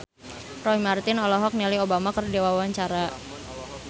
Roy Marten olohok ningali Obama keur diwawancara